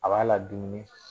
A b'a la dumun.